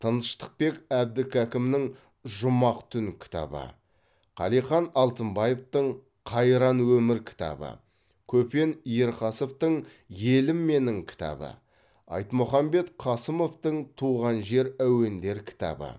тыныштықбек әбдікәкімнің жұмақ түн кітабы қалихан алтынбаевтың қайран өмір кітабы көпен ерқасовтың елім менің кітабы айтмұхамбет қасымовтың туған жер әуендері кітабы